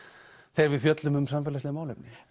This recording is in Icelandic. þegar við fjöllum um samfélagsleg málefni